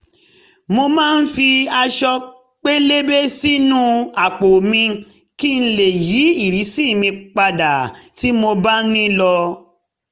mo máa ń fi aṣọ pélébé sínú àpò mi kí n lè yí ìrísí mi padà tí mo bá nílò